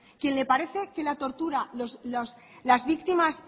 quien le parece que la tortura que las víctimas